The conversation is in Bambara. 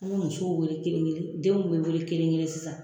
N bi musow wele kelen-kelen denw bɛ wele kelen-kelen sisan